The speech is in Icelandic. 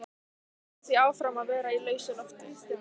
Ég hélt því áfram að vera í lausu lofti.